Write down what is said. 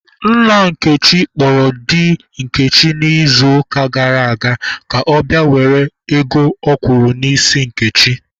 Nna Nkechi kpọrọ di Nkechi n'izuụka gara aga ka ọ bịa were ego ọ kwụrụ n'isi Nkechi.